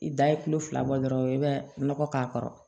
I da ye tulo fila bɔ dɔrɔn i bɛ nɔgɔ k'a kɔrɔ